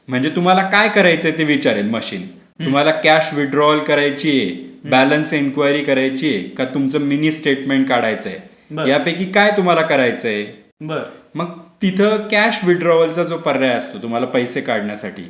म्हणजे तुम्हाला काय करायचंय ते विचारेल मशीन. तुम्हाला कॅश विड्रॉल करायचिए बॅलन्स इन्क्वायरी करायचिए की तुमच्या मिनी स्टेटमेंट काढायचा आहे. बरं. यापैकी काय तुम्हाला करायचय. मग तिथ कॅश विड्रॉलचा जो पर्याय असतो. तुम्हाला पैसे काढण्यासाठी.